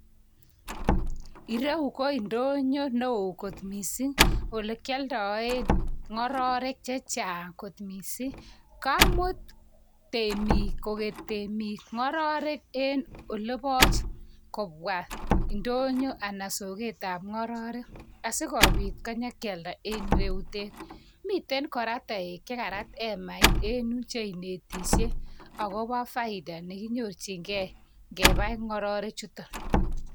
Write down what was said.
Ireu ko ndonyo neo kot mising, ole kialdaen ng'ororek che chang kot mising. kamut temik ng'ororek oleboch kopwa ndoyo anan soketab ng'ororek asikobit konyikealda en ireyutet. Miten kora toek chekarat emait cheinetishei akobo faida chekinyorchingei kepai ng'ororek chutok.